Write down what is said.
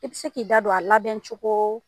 I bi se k'i da don a labɛn cogo